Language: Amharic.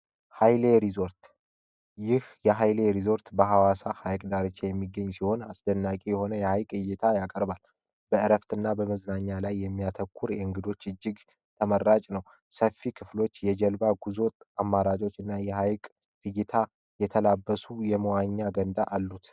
ኃይሌ ሪዞርት ይህ የሃይሌ ሪዞርት በሐዋሳ ሐይቅ ዳርቻ የሚገኝ ሲሆን አስደናቂ የሆነ የሐይቅ ዕይታ ያቀርባል በዕረፍት እና በመዝናኛ ላይ የሚያተኩር እእንግዶች እጅግ ተመራጭ ነው ሰፊ ክፍሎች የጀልባ ጉዞ አማራጮች እና የሃይቅ ዕይታ የተላበሱ የመዋኛ ገንዳ አሉት።